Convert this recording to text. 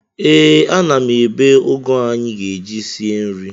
Ee, ana m ebe ụgụ anyị ga-eji sie nri.